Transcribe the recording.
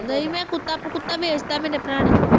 ਨਹੀਂ ਮੈਂ ਕੁੱਤਾ, ਕੁੱਤਾ ਵੇਚ ਤਾਂ ਮੇਰੇ ਭਰਾ ਨੇ,